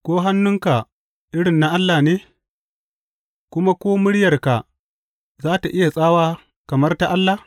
Ko hannunka irin na Allah ne, kuma ko muryarka za tă iya tsawa kamar ta Allah?